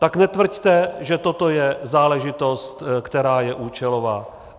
Tak netvrďte, že toto je záležitost, která je účelová.